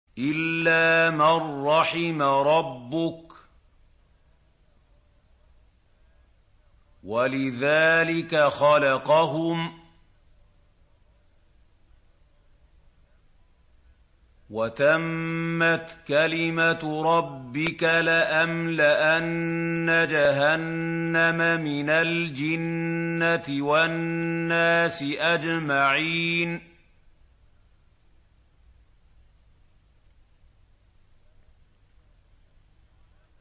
إِلَّا مَن رَّحِمَ رَبُّكَ ۚ وَلِذَٰلِكَ خَلَقَهُمْ ۗ وَتَمَّتْ كَلِمَةُ رَبِّكَ لَأَمْلَأَنَّ جَهَنَّمَ مِنَ الْجِنَّةِ وَالنَّاسِ أَجْمَعِينَ